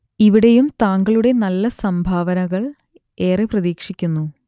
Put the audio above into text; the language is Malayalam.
ഇവിടെയും താങ്കളുടെ നല്ല സംഭാവനകൾ ഏറെ പ്രതീക്ഷിക്കുന്നു